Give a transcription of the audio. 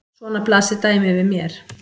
Svona blasir dæmið við mér.